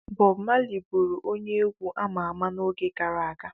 Bọbụ Mali bụụrụ onye egwu ama ama n'oge gara aga.